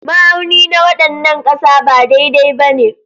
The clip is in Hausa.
Ma'auni na wannan ƙasa ba daidai ba ne.